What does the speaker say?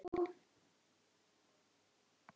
Himri, hvað er klukkan?